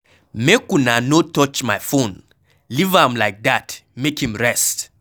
Make una no touch my phone, leave am like dat make im rest.